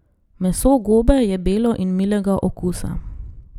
Meso gobe je belo in milega okusa.